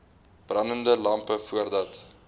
brandende lampe voordat